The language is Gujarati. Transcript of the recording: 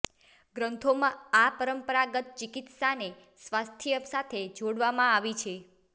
ગ્રંથોમાં આ પરંપરાગત ચિકિત્સાને સ્વાસ્થ્ય સાથે જોડવામાં આવી છે